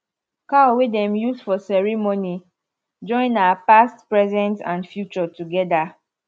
cow wey dem use for ceremony join our past present and future together